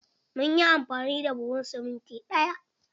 Mun yi amfani da buhun siminti ɗaya.